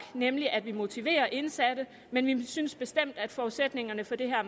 nemlig at vi motiverer indsatte men vi synes bestemt at forudsætningerne for det